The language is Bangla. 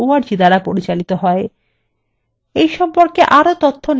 এই সম্পর্কে আরও তথ্য নিম্নলিখিত link থেকে পাওয়া যাবে